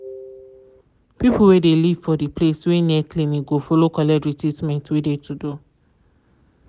people wey de live for de place wey near clinic go follow collect de treatment wey de to do.